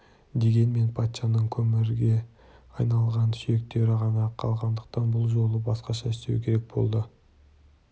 дегенмен патшаның көмірге айналған сүйектері ғана қалғандықтан бұл жолы басқаша істеу керек болды